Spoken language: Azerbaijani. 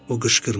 O qışqırdı.